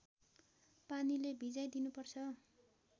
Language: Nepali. पानीले भिजाइ दिनुपर्छ